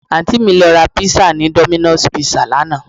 Àǹtí mi lọ ra pizza ni Domino's Pizza lánàá